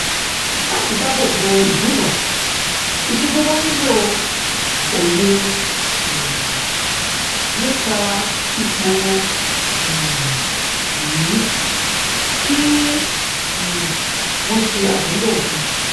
láti dáábò bo ìdúnàá ìṣejọba nílò òye um nípa ipò um yìí kí um wọn ṣe àmúlò òfin